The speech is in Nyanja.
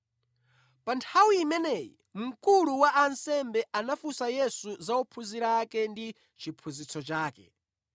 Pa nthawi imeneyi, mkulu wa ansembe anamufunsa Yesu za ophunzira ake ndi chiphunzitso chake.